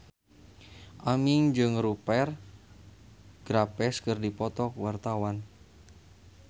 Aming jeung Rupert Graves keur dipoto ku wartawan